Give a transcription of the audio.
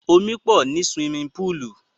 Omi pọ̀ ní suwimi púùlù.